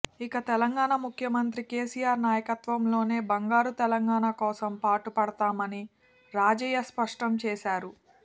ఇక తెలంగాణ ముఖ్యమంత్రి కెసిఆర్ నాయకత్వంలోనే బంగారు తెలంగాణ కోసం పాటుపడతామని రాజయ్య స్పష్టం చేశారు